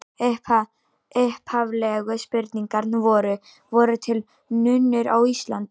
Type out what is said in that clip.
Upphaflegu spurningarnar voru: Voru til nunnur á Íslandi?